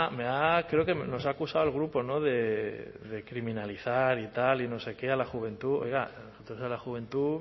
me ha creo que nos ha acusado al grupo de criminalizar y tal y no sé qué a la juventud oiga la juventud